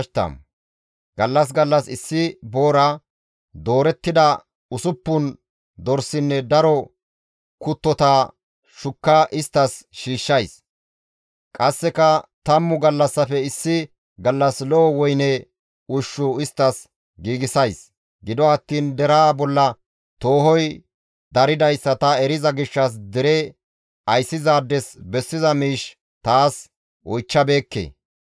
Gallas gallas issi boora, doorettida usuppun dorsinne daro kuttota shukka isttas shiishshays; qasseka tammu gallassafe issi gallas lo7o woyne ushshu isttas giigsays; gido attiin deraa bolla toohoy daridayssa ta eriza gishshas dere ayssizaades bessiza miish taas oychchabeekke.